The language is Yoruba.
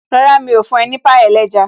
Rárá, mi ò fún ọ ní pie ẹlẹ́ja